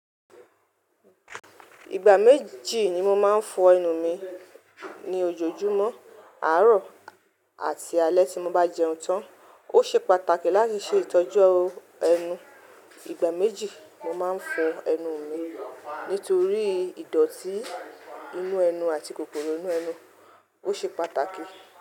Ìgbà méjì ni mo máa ń fọ ẹnu mi, ní ojoojúmọ́, àárọ̀ àti alẹ́ tí mo bá jẹun tán. Ó ṣe pàtàkì láti ṣe ìtọ́jú ẹnu. Ìgbà méjì mo máa ń fọ ẹnu mi nítorí ìdọ̀tí inú ẹnu àti kòkòrò inú ẹnu. Ó ṣe pàtàkì.